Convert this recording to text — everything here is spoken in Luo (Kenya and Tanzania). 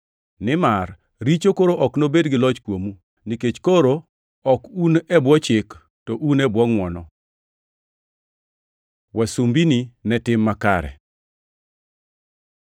Nimar richo koro ok nobed gi loch kuomu, nikech koro ok un e bwo chik, to un e bwo ngʼwono. Wasumbini ne tim makare